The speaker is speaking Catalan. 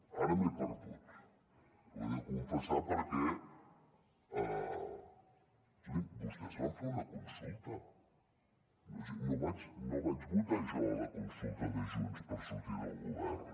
ara m’he perdut ho he de confessar perquè escolti’m vostès van fer una consulta no vaig votar jo a la consulta de junts per sortir del govern